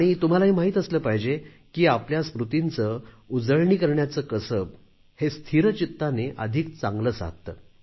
आणि तुम्हाला हे माहीत असले पाहीजे की आपल्या स्मृतींची उजळणी करण्याचे कसब स्थिरचित्ताने अधिक चांगले साधते